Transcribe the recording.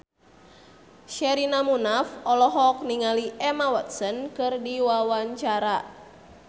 Sherina Munaf olohok ningali Emma Watson keur diwawancara